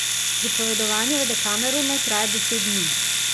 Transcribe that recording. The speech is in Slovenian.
Pripovedovanje v Dekameronu traja deset dni.